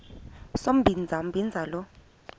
sombinza umbinza lo